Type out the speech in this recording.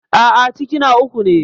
A'a, ciki na uku ne.